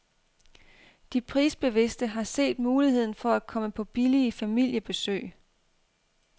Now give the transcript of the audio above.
De prisbevidste har set muligheden for at komme på billige familiebesøg.